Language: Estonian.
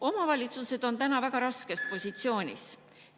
Omavalitsused on täna väga raskes positsioonis.